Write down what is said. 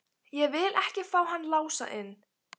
Ég vil ekki fá hann Lása inn.